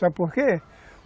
Sabe por quê?